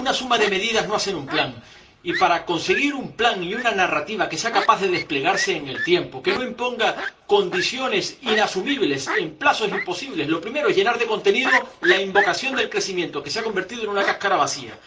Una suma de medidas no hace un plan, y para conseguir un plan y una narrativa que sea capaz de desplegarse en el tiempo, que no imponga condiciones inasumibles en plazos imposibles, lo primero es llenar de contenido la invocación del crecimiento, que se ha convertido en una cáscara vacía.